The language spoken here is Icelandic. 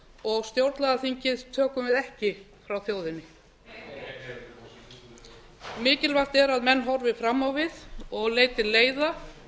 og stjórnlagaþingið tökum við ekki frá þjóðinni heyr heyr mikilvægt er að menn horfi fram á við og leiti leiða